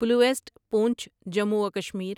پلویسٹ پونچھ جموں و کشمیر